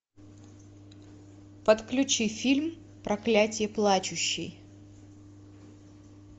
подключи фильм проклятие плачущей